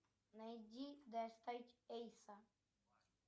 найди достать эйса